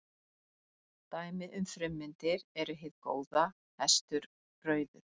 Dæmi um frummyndir eru hið góða, hestur, rauður.